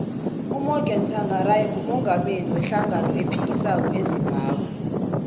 umorgan tshangari ngumungameli we hlangano ephikisako ezimbabwe